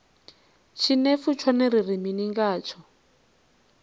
tshinefu tshone ri ri mini ngatsho